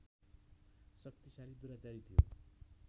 शक्तिशाली दुराचारी थियो